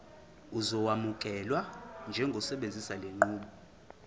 uzokwamukelwa njengosebenzisa lenqubo